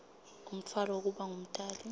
umtfwalo wekuba ngumtali